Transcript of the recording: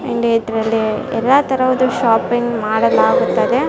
And ಇದ್ರಲ್ಲಿ ಎಲ್ಲ ತರದ ಒಂದು ಶಾಪಿಂಗ್ ಮಾಡಲಾಗುತ್ತದೆ .